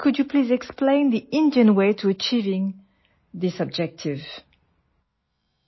ലോകത്തിലെ ഏറ്റവും വലിയ ജനസംഖ്യയുള്ള ഈ ലക്ഷ്യം കൈവരിക്കുന്നതിനുള്ള ഇന്ത്യൻ മാർഗം ദയവായി വിശദീകരിക്കാമോ